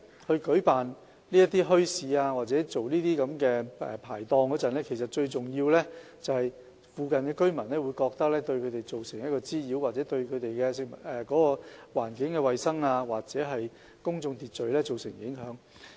在舉辦墟市或設立排檔時，附近居民很多時候都會覺得，這樣做會對他們造成滋擾或對環境衞生、公眾秩序造成影響。